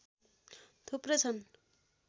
थुप्रै छन्